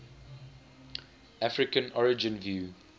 african origin view